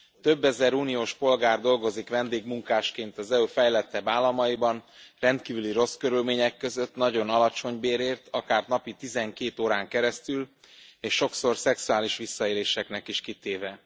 Több ezer uniós polgár dolgozik vendégmunkásként az EU fejlettebb államaiban rendkívül rossz körülmények között, nagyon alacsony bérért, akár napi 12 órán keresztül és sokszor szexuális visszaéléseknek is kitéve.